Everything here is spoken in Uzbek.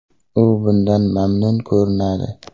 U bundan mamnun ko‘rinadi”.